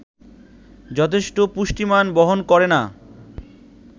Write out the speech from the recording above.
যথেষ্ট পুষ্টিমান বহন করে না